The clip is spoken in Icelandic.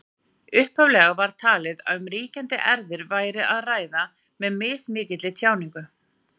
Upphaflega var talið að um ríkjandi erfðir væri að ræða með mismikilli tjáningu.